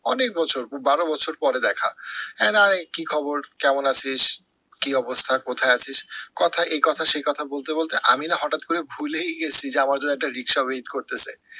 অনেক বছর, বারো বছর পরে দেখা এ কি খবর, কেমন আছিস, কি অবস্থা, কোথায় আছিস কথা এই কথা সেই কথা বলতে বলতে আমি না হটাৎ করে ভুলেই গেছি যে আমার জন্য একটা রিক্সা wait করতেসে